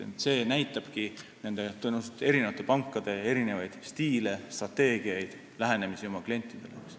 See näitabki tõenäoliselt eri pankade erinevaid stiile, strateegiaid ja erisugust lähenemist oma klientidele.